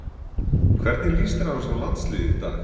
Hvernig lýst þér annars á landsliðið í dag?